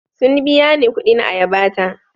Sun biya ni kuɗin ayaba ta.